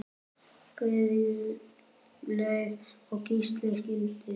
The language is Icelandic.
Guðlaug og Gísli skildu.